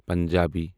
Punjabi